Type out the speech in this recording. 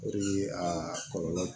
O de ye aa kɔlɔlɔ